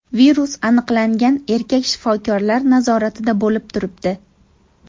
Virus aniqlangan erkak shifokorlar nazoratida bo‘lib turibdi.